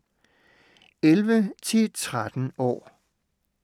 11-13 år